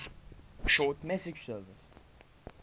short message service